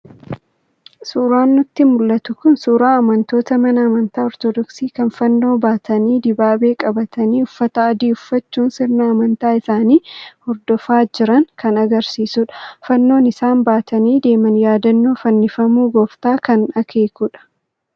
Suuraan nutti mul'atu kun suuraa amantoota mana amantaa Ortodoksii kan fannoo baatanii, dibaabee qabatanii uffata adii uffachuun sirna amantaa isaanii hordofaa jiran kan argisiisudha. Fannoon isaan baatanii deeman yaadannoo fannifamuu gooftaa kan akeekudha.